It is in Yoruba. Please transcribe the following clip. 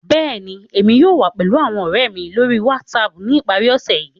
Bẹ́ẹ̀ni, Emi yóò wa pẹlu awọn ọrẹ lori WhatsApp ni ipari ose yii.